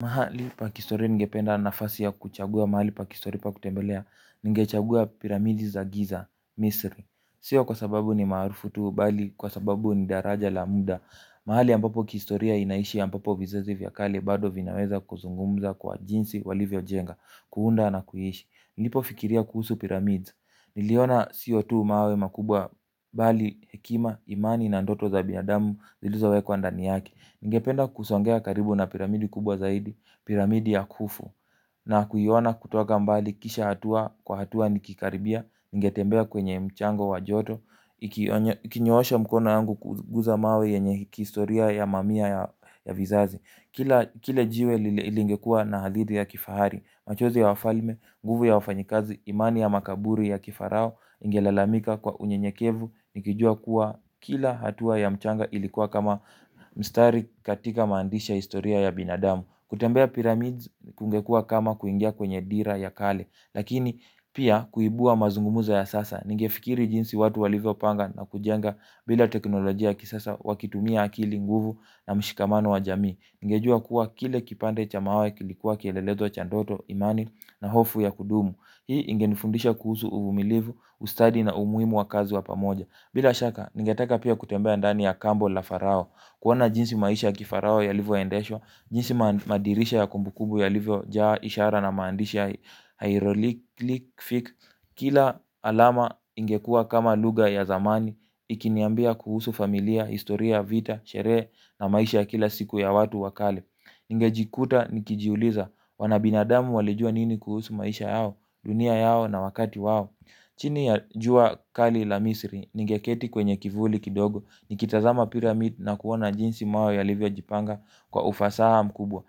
Mahali pa kihistoria ningependa nafasi ya kuchagua mahali pa kihistoria pa kutembelea. Ningechagua piramidi za giza, misri. Sio kwa sababu ni maarufu tu, bali kwa sababu ni daraja la muda. Mahali ambapo kihistoria inaishi ambapo vizazi vya kale bado vinaweza kuzungumza kwa jinsi walivyo jenga, kuunda na kuishi. Nilipo fikiria kuhusu piramidi niliona siyo tu mawe makubwa bali, hekima, imani na ndoto za binadamu. Zilizowekwa ndani yake. Ningependa kusongea karibu na piramidi kubwa zaidi, piramidi ya kufu. Na kuiona kutoka mbali kisha hatua kwa hatua nikikaribia. Ningetembea kwenye mchanga wa joto nikinyoosha mikono yangu kuguza mawe yenye kihistoria ya mamia ya vizazi. Kila jiwe lingekuwa na hadidhi ya kifahari. Machozi ya wafalme, nguvu ya wafanyikazi, imani ya makaburi ya kifarao ingelalamika kwa unyenyekevu. Nikijua kuwa kila hatua ya mchanga ilikuwa kama mstari katika maandishi ya historia ya binadamu. Kutembea pyramids kungekua kama kuingia kwenye dira ya kale. Lakini pia kuibua mazungumzo ya sasa. Ningefikiri jinsi watu walivyo panga na kujenga bila teknolojia ya kisasa wakitumia akili nguvu na mshikamano wa jamii. Ningejua kuwa kila kipande cha mawe kilikuwa kielelezo cha ndoto imani na hofu ya kudumu. Hii ingenifundisha kuhusu uvumilivu, ustadi na umuhimu wa kazi wa pamoja. Bila shaka, ningetaka pia kutembea ndani ya kambo la farao. Kuona jinsi maisha ya kifarao yalivyo endeshwa, jinsi madirisha ya kumbukumbu yalivyojaa ishara na maandishi ya hieroglyphs. Kila alama ingekuwa kama lugha ya zamani ikiniambia kuhusu familia, historia, vita, sherehe na maisha ya kila siku ya watu wa kale. Ningejikuta nikijiuliza wana binadamu walijua nini kuhusu maisha yao. Dunia yao na wakati wao chini ya jua kali la misri. Ningeketi kwenye kivuli kidogo. Nikitazama piramid na kuona jinsi mawe yalivyo jipanga kwa ufasaha mkubwa.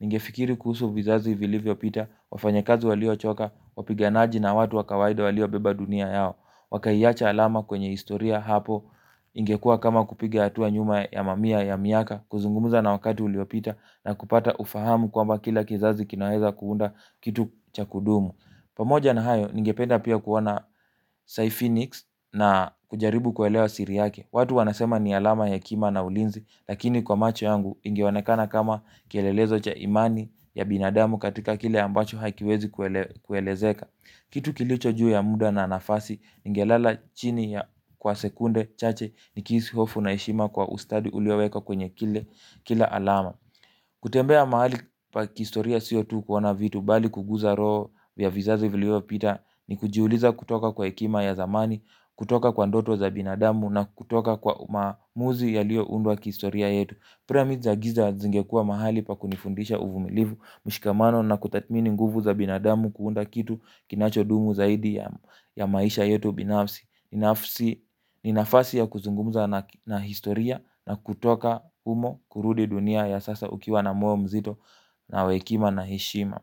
Ningefikiri kuhusu vizazi vilivyo pita wafanyakazi walio choka, wapiganaji na watu wa kawaida walio beba dunia yao wakaiacha alama kwenye historia hapo ingekuwa kama kupiga hatua nyuma ya mamia ya miaka kuzungumza na wakati uliopita na kupata ufahamu kwamba kila kizazi kinaweza kuunda kitu cha kudumu pamoja na hayo, ningependa pia kuona Psyphonix na kujaribu kuelewa siri yake watu wanasema ni alama ya hekima na ulinzi lakini kwa macho yangu ingeonekana kama kielelezo cha imani. Ya binadamu katika kile ambacho hakiwezi kuelezeka. Kitu kilicho juu ya muda na nafasi. Ningelala chini ya kwa sekunde chache. Nikihisi hofu na heshima kwa ustadi uliowekwa kwenye kila alama. Kutembea mahali pa kihistoria siyo tu kuona vitu bali kuguza roho vya vizazi viliyo pita. Ni kujiuliza kutoka kwa hekima ya zamani. Kutoka kwa ndoto za binadamu na kutoka kwa maamuzi yaliyo undwa kihistoria yetu Pyramids za giza zingekua mahali pa kunifundisha uvumilivu. Mshikamano na kutathmini nguvu za binadamu kuunda kitu kinacho dumu zaidi ya maisha yetu binafsi. Ni nafasi ya kuzungumuza na historia na kutoka humo kurudi dunia ya sasa ukiwa na moyo mzito na wa hekima na heshima.